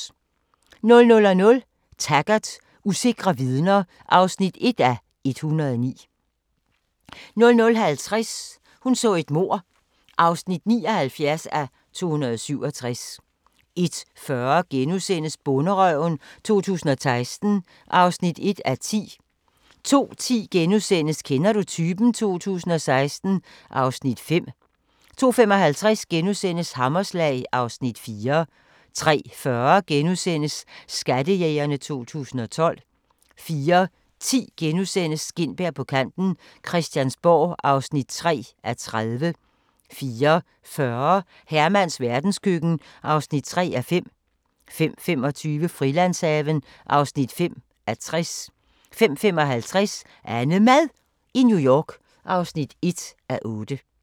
00:00: Taggart: Usikre vidner (1:109) 00:50: Hun så et mord (79:267) 01:40: Bonderøven 2016 (1:10)* 02:10: Kender du typen? 2016 (Afs. 5)* 02:55: Hammerslag (Afs. 4)* 03:40: Skattejægerne 2012 * 04:10: Gintberg på kanten - Christiansborg (3:30)* 04:40: Hermans verdenskøkken (3:5) 05:25: Frilandshaven (5:60) 05:55: AnneMad i New York (1:8)